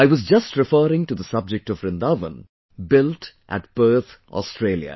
I was just referring to the subject of Vrindavan, built at Perth, Australia